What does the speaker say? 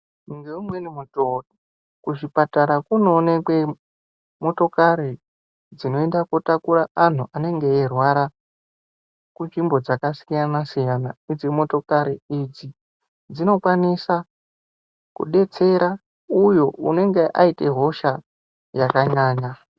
Ngeumweni mutoo kuzvipatara kunonekwe motokari dzinoenda kotakura anhu anenge eirwara munzvimbo dzakasiyana -siyana. Idzi motokari idzi dzinokwanisa dzinodetsera uyu anenge aita hosha yakanyanya.